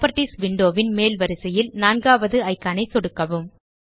properties window ன் மேல் வரிசையில் நான்காவது இக்கான் ஐ சொடுக்கவும்